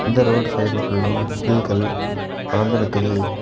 இந்த ரோடு சைடுல ஃபுல்லா பில்கள் வளர்ந்து நிக்குது.